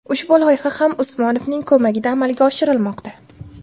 Ushbu loyiha ham Usmonovning ko‘magida amalga oshirilmoqda.